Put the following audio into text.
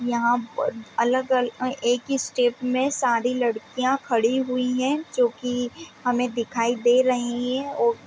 यहाँ पर अलग-अलग एक ही स्ट्रेट में सारी लड़कियाँ खड़ी हुई है जोकि हमें दिखाई दे रही है और--